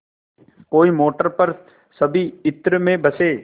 कोई मोटर पर सभी इत्र में बसे